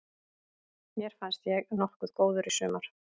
Mér fannst ég nokkuð góður í sumar.